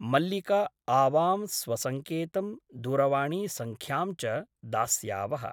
मल्लिका आवां स्वसङ्केतं दूरवाणीसङ्ख्यां च दास्यावः ।